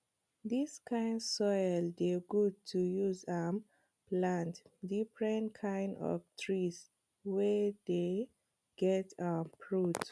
dis kind soil dey good to use um plant different kind of trees wey dey get um fruits